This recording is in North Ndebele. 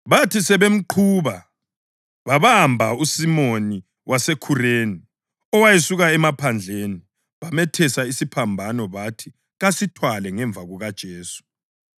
Bathi sebemqhuba babamba uSimoni waseKhureni owayesuka emaphandleni, bamethesa isiphambano bathi kasithwale ngemva kukaJesu.